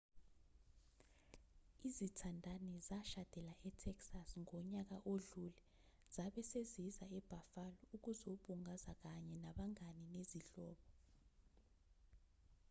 izithandani zashadela e-texas ngonyaka odlule zabe seziza e-buffalo ukuzobungaza kanye nabangane nezihlobo